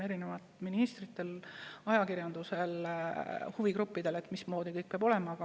Nii ministritel, ajakirjandusel kui ka huvigruppidel on mismoodi kõik peab olema.